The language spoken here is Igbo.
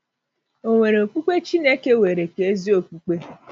Ò Nwere Okpukpe Chineke Weere Ka Ezi Okpukpe?